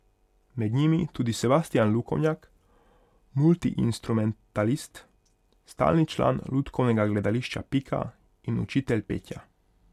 Med njimi tudi Sebastijan Lukovnjak, multiinstrumentalist, stalni član lutkovnega gledališča Pika in učitelj petja.